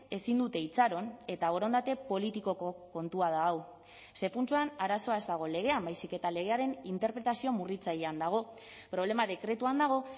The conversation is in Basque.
ezin dute itxaron eta borondate politikoko kontua da hau ze puntuan arazoa ez dago legean baizik eta legearen interpretazio murritzailean dago problema dekretuan dago